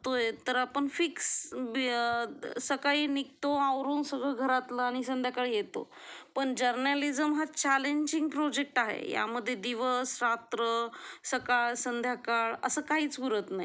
तर आपण फिक्स सकाळी निघतो आवरून सगळं घरातला आणि संध्याकाळी येतो पण जर्नालिझम हा चॅलेंजिंग प्रॉजेक्ट आहे यामध्ये दिवस, रात्र, सकाळ, संध्याकाळ असं काहीच उरत नाही